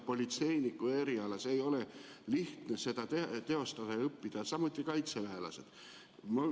Politseiniku eriala ei ole lihtne õppida, samuti kaitseväelased.